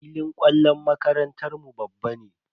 Filin kwallon makarantar mu babban ne.